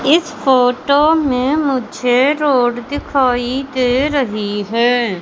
इस फोटो में मुझे रोड दिखाई दे रही है।